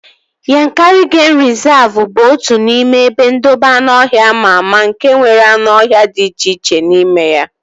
Yankari geim rịzavu bụ otu n'ime ebe ndobe anụọhịa ama ama nke nwere anụ ọhịa dị iche iche n'ime ya